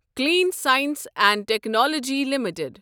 clean science and technology limited